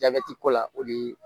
Jabɛti ko la o ye